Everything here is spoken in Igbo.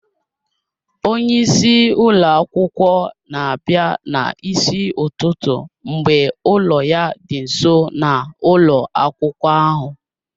Onye isi ụlọ akwụkwọ na-abịa n'isi ụtụtụ mgbe ụlọ ya dị nso na ụlọ akwụkwọ ahụ